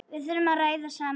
Við þurfum að ræða saman.